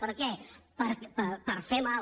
per què per fer mal